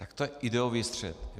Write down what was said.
Tak to je ideový střet.